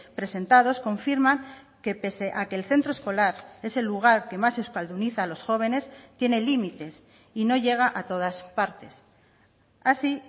presentados confirman que pese a que el centro escolar es el lugar que más euskalduniza a los jóvenes tiene límites y no llega a todas partes así